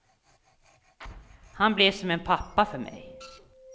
Han blev som en pappa för mig.